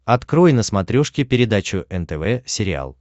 открой на смотрешке передачу нтв сериал